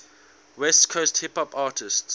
west coast hip hop artists